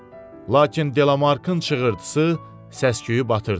Lakin Delamarkın çığırdısı səs-küyü batırdı.